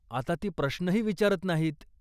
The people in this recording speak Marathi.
आता ती प्रश्नही विचारत नाहीत.